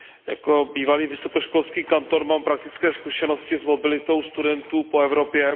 Jako bývalý vysokoškolský kantor mám praktické zkušenosti s mobilitou studentů po Evropě.